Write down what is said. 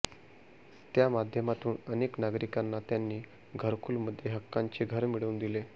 त्यामाध्यमातून अनेक नागरिकांना त्यांनी घरकुलमध्ये हक्काचे घर मिळवून दिले